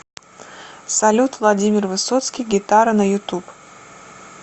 салют владимир высоцкий гитара на ютуб